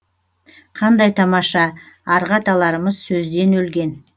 қандай тамаша арғы аталарымыз сөзден өлген